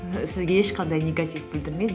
сізге ешқандай негатив білдірмейді